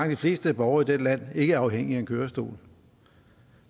de fleste borgere i dette land ikke afhængige af en kørestol og